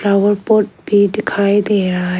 Flower pot भी दिखाई दे रहा है।